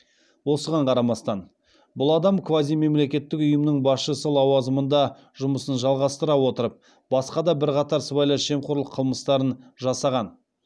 осыған қарамастан бұл адам квазимемлекеттік ұйымның басшысы лауазымында жұмысын жалғастыра отырып басқа да бірқатар сыбайлас жемқорлық қылмыстарын жасаған